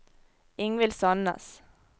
Ingvild Sannes